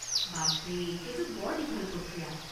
বাপৰে, সেইটো বৰ দীঘল প্ৰক্ৰিয়া।